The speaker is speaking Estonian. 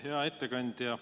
Hea ettekandja!